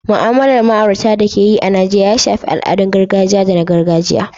Mu'amalar ma'aurata da ake yi a Najeriya ya shafi al'adun gargajiya da na gargajiya.